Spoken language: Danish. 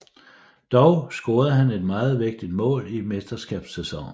Dog scorede han et meget vigtigt mål i mesterskabssæsonen